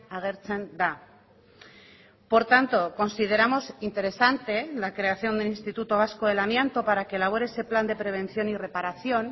agertzen da por tanto consideramos interesante la creación del instituto vasco del amianto para que elabore ese plan de prevención y reparación